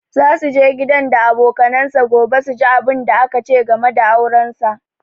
Za su je gidan da abokanansa gobe su ji abunda aka ce game da auransa